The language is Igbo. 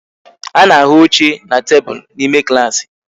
A na-ahụ oche na tebụl n'ime klaasị